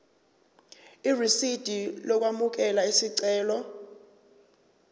irisidi lokwamukela isicelo